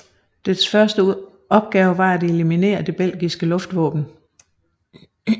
Dets første opgave var at eliminere det belgiske luftvåben